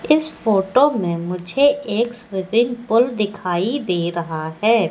इस फोटो में मुझे एक स्विपिंग पूल दिखाई दे रहा है।